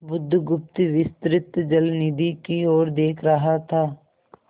बुधगुप्त विस्तृत जलनिधि की ओर देख रहा था